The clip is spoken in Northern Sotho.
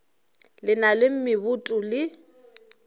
le na le meboto le